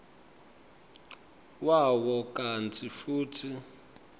wawo kantsi futsi